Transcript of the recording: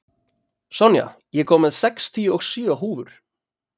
Sonja, ég kom með sextíu og sjö húfur!